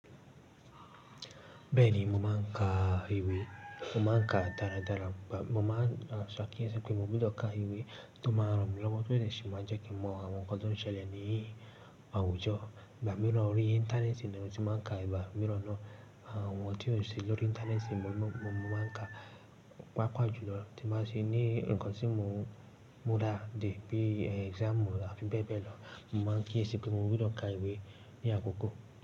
Bẹ́ẹ̀ni, mo máa ń ka ìwé. Mo máa ń ka dára dára. Mo máa ń ṣe akíyèsí pé mo gbọdọ̀ ka ìwé tó ma ran mi lọ́wọ́ tó lè ṣe má jẹ́ kí mọ àwọn nǹkan tó ń ṣẹlẹ̀ ní àwùjọ. Ìgbá mìíràn órí Íńtánẹ́ẹ̀tì ni mo ti máa ń ka, ìbá mìíràn náà àwọn ọ̀nà tí ó ṣe lórí Íńtánẹ́ẹ̀tì mo mo máa ń ka. Pàápàá jùlọ, tí máa ṣe ní nǹkan tí mo mo dá de bí exam àfi bẹ́ẹ̀ bẹ́ẹ̀ lọ. Mo máa ń kíyèsí pé mo gbọdọ̀ ka ìwé ní àkókò.